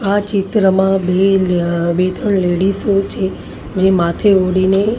આ ચિત્રમાં બે લ્ય બે ત્રણ લેડીઝો છે જે માથે ઓઢીને--